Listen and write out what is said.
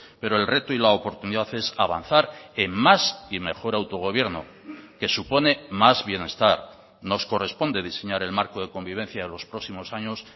pero el reto y la oportunidad es avanzar en más y mejor autogobierno que supone más bienestar nos corresponde diseñar el marco de convivencia de los próximos años